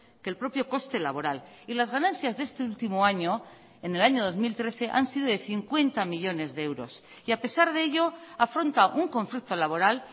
que el propio coste laboral y las ganancias de este último año en el año dos mil trece han sido de cincuenta millónes de euros y a pesar de ello afronta un conflicto laboral